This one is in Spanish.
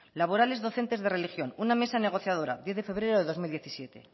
laborales docentes de religión una mesa negociadora veinte de febrero de dos mil diecisiete